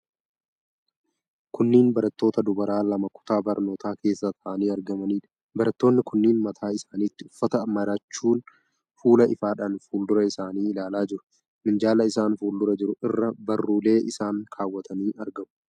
Kunneen barattoota dubara lama kutaa barnootaa keessa taa'anii argamaniidha. Barattoonni kunneen mataa isaanitti uffata marachuun fuula ifaadhaan fuuldura isaanii ilaalaa jiru. Minjaala isaan fuuldura jiru irra barruulee isaanii kaawwatanii argamu.